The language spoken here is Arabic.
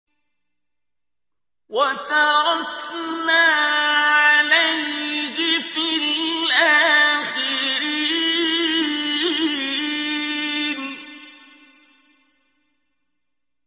وَتَرَكْنَا عَلَيْهِ فِي الْآخِرِينَ